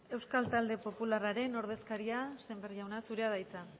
euskal talde popularraren ordezkaria sémper jauna zurea da hitza